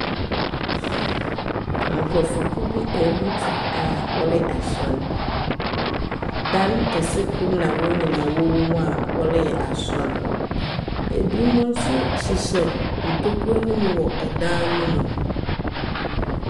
Nkrɔfao kuw bi abutu a wɔyɛ asor. Dan kɛse kor na wɔn nyinaa wɔ mu a wɔreyɛ asor. Ebinom nso hyehyɛ ntokro no mu wɔ dan no mu.